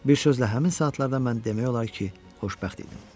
Bir sözlə, həmin saatlarda mən demək olar ki, xoşbəxt idim.